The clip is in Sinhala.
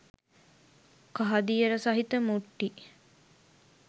කහදියර සහිත මුට්ටි